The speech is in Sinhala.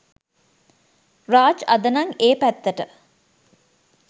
රාජ් අද නම් ඒ පැත්තට